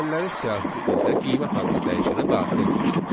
Dəyişənlərin siyahısı isə qiymət adlı dəyişənə daxil ediləcək.